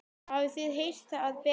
Hafið þið heyrt það betra?